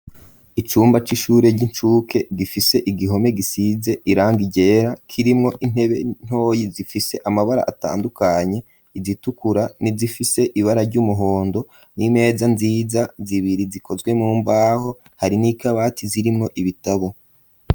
Icumba c'ishure ry'inshuke gifise igihome gisize irangi ryera kirimwo intebe ntoyi zifise amabara atandukanye igitukura ni zifise ibara ry'umuhondo n'impeza nziza zibiri zikozwe mu mbaho hari n'ikabati zirimwo ibitabo.